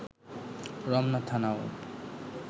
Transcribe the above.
Ramna থানাও